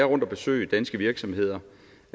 rundt at besøge danske virksomheder